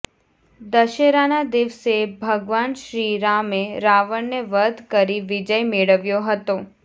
દશેરાના દિવસે ભગવાન શ્રીરામએ રાવણને વધ કરી વિજય મેળવ્યો હતો